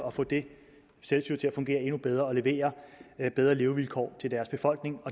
at få det selvstyre til at fungere endnu bedre og til at levere bedre levevilkår til sin befolkning